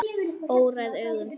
Óræð augun brún.